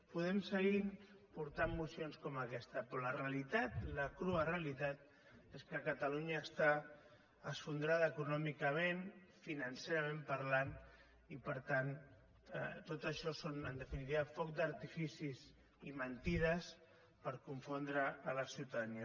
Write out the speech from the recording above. podem seguir portant mocions com aquesta però la realitat la crua realitat és que catalunya està esfondrada econòmicament financerament parlant i per tant tot això són en definitiva focs d’artificis i mentides per confondre la ciutadania